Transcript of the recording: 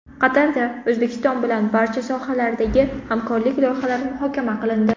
Qatarda O‘zbekiston bilan barcha sohalardagi hamkorlik loyihalari muhokama qilindi.